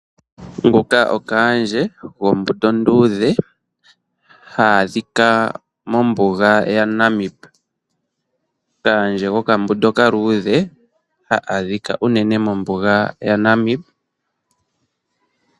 Nguka okaandje gombuto onduudhe ha adhika mobuga yaNamib. Kaandje gokambunda okaaludhe ha adhika unene mombuga yaNamib.